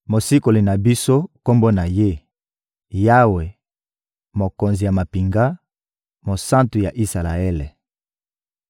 Mosikoli na biso, Kombo na Ye: Yawe, Mokonzi ya mampinga, Mosantu ya Isalaele.